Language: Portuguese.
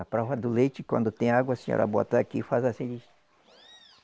A prova do leite, quando tem água, a senhora bota aqui e faz assim.